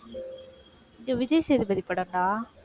ஏ Vijay Sethupathi படம்டா.